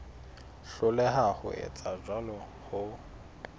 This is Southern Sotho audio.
hloleha ho etsa jwalo ho